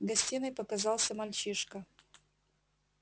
в гостиной показался мальчишка